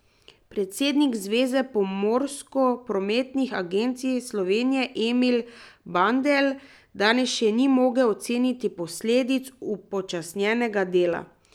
Predsednik Zveze pomorsko prometnih agencij Slovenije Emil Bandelj danes še ni mogel oceniti posledic upočasnjenega dela.